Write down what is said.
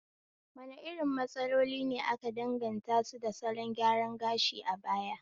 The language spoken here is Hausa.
Wane irin matsaloli ne aka danganta su da salon gyaran gashi a baya?